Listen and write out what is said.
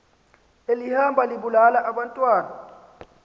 elihamba libulala abantwana